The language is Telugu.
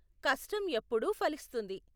కష్టం ఎప్పుడూ ఫలిస్తుంది.